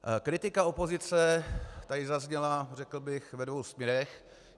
Kritika opozice tady zazněla, řekl bych, ve dvou směrech.